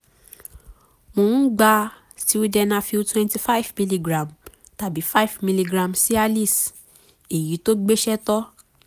mo ń gba sildenafil twenty five milligram tàbí five milligram cialis èyí tó gbéṣẹ́ tó